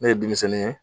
Ne ye denmisɛnnin ye